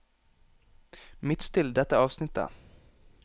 Midtstill dette avsnittet